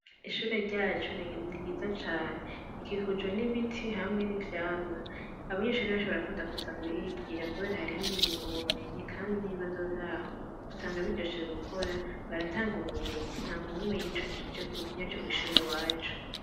Ishuri ryacu ni ryiza cane ikikujwe n'ibiti hamwe n'ivyamwa abanyenshuri nanshobora kunda kuza kuhigira, kubera hariho ubumenyi, kandi n'ibibazo vyaho gusanga biryoshoje gukora baratanga ubumenyi nta muntu numwe yicujije yaje kw'ishuri wacu.